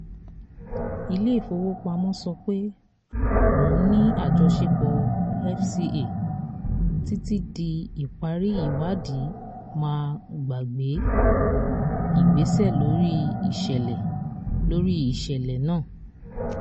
ilé ìfowópamọ́ sọ pé òun ní àjọṣepọ̀ fca títí di ìparí ìwádì má gbàgbé ìgbésẹ̀ lórí iṣẹlẹ lórí iṣẹlẹ náà